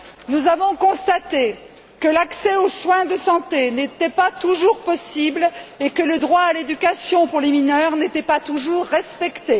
Nous avons constaté que l'accès aux soins de santé n'était pas toujours possible et que le droit à l'éducation pour les mineurs n'était pas toujours respecté.